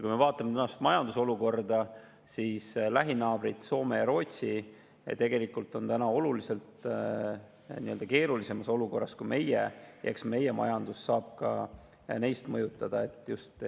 Kui me vaatame tänast majandusolukorda, siis on lähinaabrid Soome ja Rootsi tegelikult oluliselt keerulisemas olukorras kui meie, eks see mõjutab ka meie majandust.